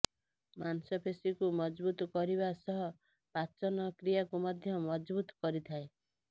ମାଂସପେଶୀକୁ ମଜବୁତ କରିବା ସହ ପାଚନ କ୍ରିୟାକୁ ମଧ୍ୟ ମଜବୁତ କରିଥାଏ